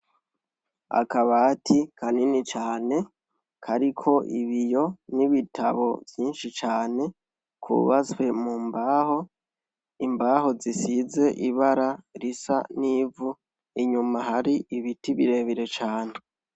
Akabati kanini cane kariko ibiyo n'ibitabo vyinshi cane kubatswe mu mbaho, imbaho zisize ibara risa n'ivu, inyuma hari ibiti birebire cane.